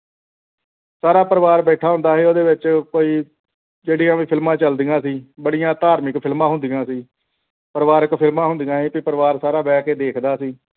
ਸਾਰਾ ਪਰਿਵਾਰ ਬੈਠਾ ਹੁੰਦਾ ਸੀ ਉਸ ਦੇ ਵਿਚ ਕੋਈ ਜਿਹੜੀਆਂ ਵੀ ਫਿਲਮਾਂ ਚੱਲਦੀਆਂ ਸੀ ਬੜੀਆਂ ਧਾਰਮਿਕ ਫਿਲਮਾਂ ਹੁੰਦੀਆ ਸੀ ਪਰਿਵਾਰਿਕ ਫ਼ਿਲਮਾਂ ਹੁੰਦੀਆਂ ਸੀ ਸਾਰਾ ਪਰਿਵਾਰ ਬਹਿ ਕੇ ਦੇਖਦਾ ਹੁੰਦਾ ਸੀ